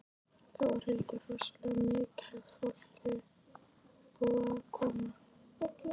Þórhildur: Rosalega mikið af fólki búið að koma?